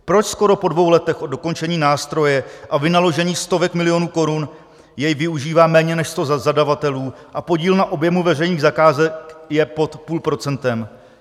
Proč skoro po dvou letech od dokončení nástroje a vynaložení stovek milionů korun jej využívá méně než sto zadavatelů a podíl na objemu veřejných zakázek je pod půl procentem?